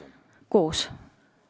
Alati koos.